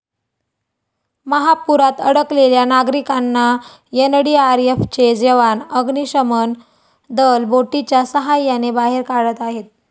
महापुरात अडकलेल्या नागरिकांना एनडीआरएफचे जवान, अग्निशमन दल बोटीच्या साहाय्याने बाहेर काढत आहेत.